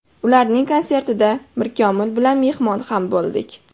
Ularning konsertida Mirkomil bilan mehmon ham bo‘ldik.